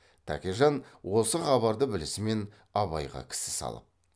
тәкежан осы хабарды білісімен абайға кісі салып